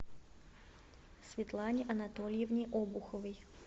светлане анатольевне обуховой